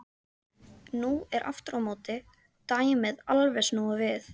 Nú er aftur á móti dæmið alveg snúið við.